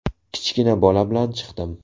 Kichkina bola bilan chiqdim.